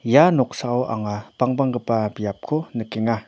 ia noksao anga bangbanggipa biapko nikenga.